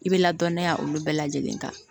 I bɛ ladɔnniya olu bɛɛ lajɛlen kan